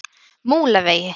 Múlavegi